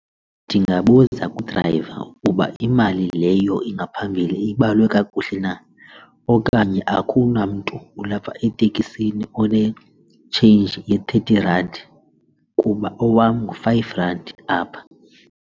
Ndingabuza kudrayiva ukuba imali leyo ingaphambili ibalwe kakuhle na okanye akunamntu ulapha etekisini one-change ye-thirty rand kuba owam ngu-five rand apha.